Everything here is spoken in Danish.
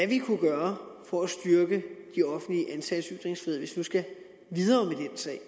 vi kunne gøre for at styrke de offentligt ansattes ytringsfrihed hvis vi nu skal videre med den sag